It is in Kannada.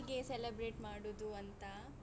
ಅದೇ ಹೇಗೆ celebrate ಮಾಡುದು ಅಂತ.